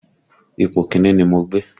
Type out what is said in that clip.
Ipò Kínní ni mo gbé